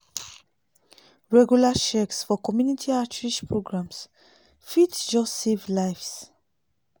regular checks for community outreach programs fit just save lives.